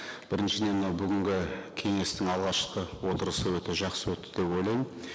біріншіден мынау бүгінгі кеңестің алғашқы отырысы өте жақсы өтті деп ойлаймын